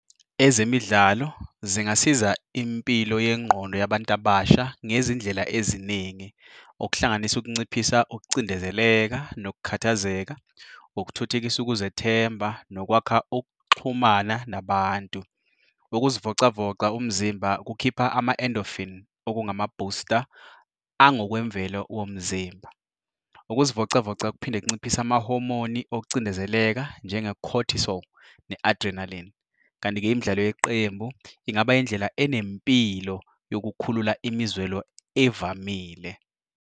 Ezemidlalo zingasiza impilo yengqondo yabantu abasha ngezindlela eziningi okuhlanganisa ukunciphisa ukucindezeleka nokukhathazeka, ukuthuthukisa ukuzethemba nokwakha ukuxhumana nabantu. Ukuzivocavoca umzimba kukhipha ama-endorphin okungama-booster angokwemvelo womzimba. Ukuzivocavoca kuphinde kunciphise amahomoni okucindezeleka njenge-cortisol ne-adrenaline. Kanti-ke imidlalo yeqembu ingaba indlela enempilo yokukhulula imizwelo evamile.